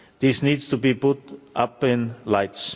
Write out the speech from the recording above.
This needs to be put up in lights.